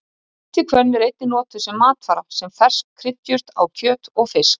Snemma í stríðinu sátu Spartverjar um Aþenu og braust þá út skæð farsótt innan borgarinnar.